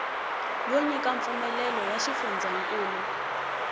yo nyika mpfumelelo ya xifundzankulu